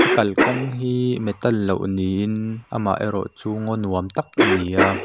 kalkawng hi metal lo niin amaherawh chu ngaw nuam tak a ni a.